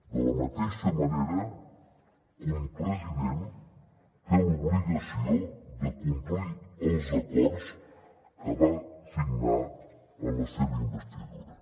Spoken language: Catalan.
de la mateixa manera que un president té l’obligació de complir els acords que va signar en la seva investidura